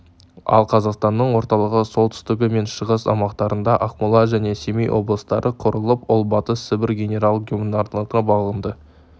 ал қазақстанның орталығы солтүстігі мен шығыс аумақтарында ақмола және семей облыстары құрылып ол батыс сібір генерал-губернаторлығына бағынды